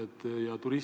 Tänan küsimuse eest!